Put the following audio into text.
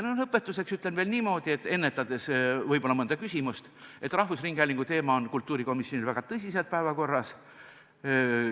Lõpetuseks ütlen veel niimoodi – võib-olla ennetades mõnda küsimust –, et rahvusringhäälingu teema on kultuurikomisjonis väga tõsiselt päevakorras.